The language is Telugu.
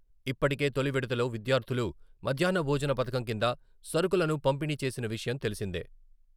ఇప్పటికే తొలి విడతలో విద్యార్థులు మధ్యాహ్న భోజన పథకం కింద సరుకులను పంపిణీ చేసిన విషయం తెలిసిందే.